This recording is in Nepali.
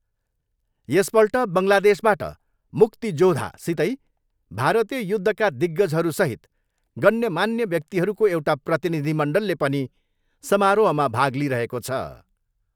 यस पल्ट बङ्गलादेशबाट 'मुक्ति जोधा' सितै भारतीय युद्धका दिग्गजहरूसहित गण्यमान्य व्याक्तिहरूको एउटा प्रतिनिधि मण्डलले पनि सामारोहमा भाग लिइरहेको छ।